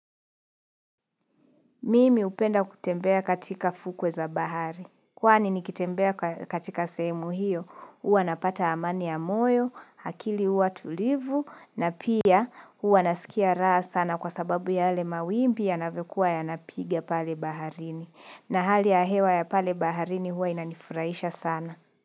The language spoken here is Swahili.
Mimi hupenda kutembea katika fukwe za bahari. Kwani nikitembea katika sehemu hiyo, huwa napata amani ya moyo, akili huwa tulivu, na pia huwa nasikia raha sana kwa sababu yale mawimbi yanavyokuwa yanapiga pale baharini. Na hali ya hewa ya pale baharini huwa inanifuraisha sana.